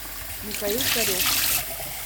михаил царев